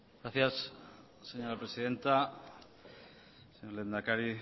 gracias señora presidenta señor lehendakari